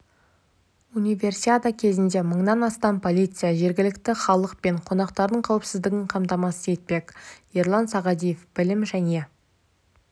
универсиада кезінде мыңнан астам полиция жергілікті халық пен қонақтардың қауіпсіздігін қамтамасыз етпек ерлан сағадиев білім және